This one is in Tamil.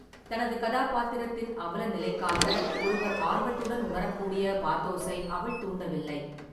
தனது கதாபாத்திரத்தின் அவலநிலைக்காக ஒருவர் ஆர்வத்துடன் உணரக்கூடிய பாத்தோஸை அவள் தூண்டவில்லை.